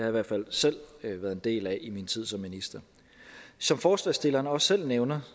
i hvert fald selv været en del af i min tid som minister som forslagsstillerne også selv nævner